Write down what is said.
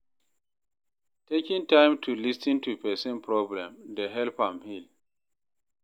Taking time to lis ten to pesin problem dey help am heal.